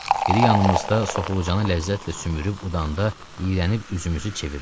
Biri yanımızda soxulcanı ləzzətlə sümürüb udanda, iyrənib üzümüzü çeviririk.